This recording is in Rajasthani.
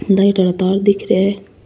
लाइट आरा तार दिख रे है।